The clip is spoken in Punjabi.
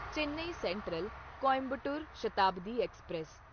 Chennai central Coimbatore Shatabdi express